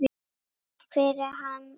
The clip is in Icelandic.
Takk fyrir hann afa.